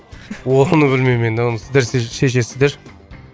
оны білмеймін мен оны сіздер шешесіздер